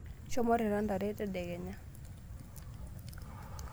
Shomo irita ntare tadekenya.